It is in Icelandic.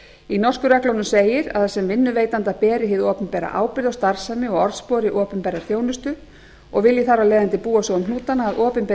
í norsku reglunum segir að sem vinnuveitanda beri hið opinbera ábyrgð á starfsemi og orðspori opinberrar þjónustu og vilji þar af leiðandi búa svo um hnútana að opinberir